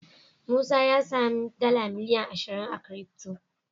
Musa a samu miliyan dala ashiria crty